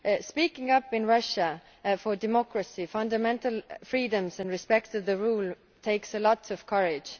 Speaking up in Russia for democracy, fundamental freedoms and respect for the rule of law takes lots of courage.